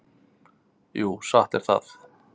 Jú, satt er það.